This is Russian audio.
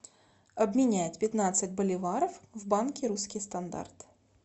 обменять пятнадцать боливаров в банке русский стандарт